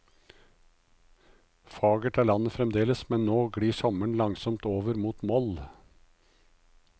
Fagert er landet fremdeles, men nå glir sommeren langsomt mot moll.